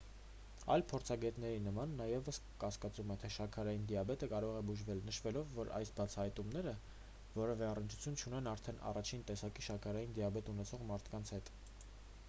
այլ փորձագետների նման նա ևս կասկածում է թե շաքարային դիաբետը կարող է բուժվել նշելով որ այս բացահայտումները որևէ առնչություն չունեն արդեն 1-ին տեսակի շաքարային դիաբետ ունեցող մարդկանց հետ